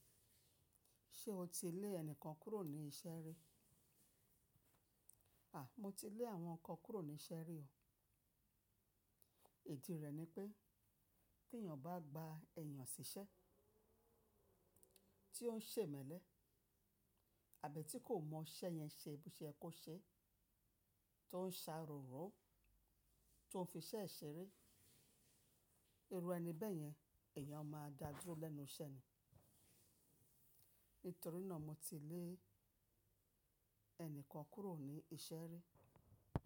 Ṣé o ti lé ẹnìkan kúrò ní iṣẹ́ rí? À, mo ti lé àwọn kan kúrò ní iṣẹ́ rí o. Ìdí rẹ̀ ni pé tí èèyàn bá gba èèyàn siṣẹ́ tí ó ń ṣe mẹ̀lẹ́ àbí tí kò mọ iṣẹ́ yẹn ṣe bí ṣe ẹ kó ṣe, tó ń ṣáròrò, tó ń fi iṣẹ́ e ṣeré, irú ẹni bẹ́yẹn èèyàn máa dá dúró lẹ́nu iṣẹ́ ni. Nítorí náà mo ti lé ẹnìkan kúrò ní iṣẹ́ rí.